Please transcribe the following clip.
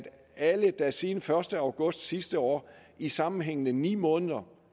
alle der siden den første august sidste år i sammenhængende ni måneder